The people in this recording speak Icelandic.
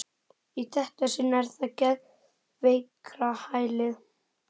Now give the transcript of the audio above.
Í þetta sinn er það geðveikrahælið.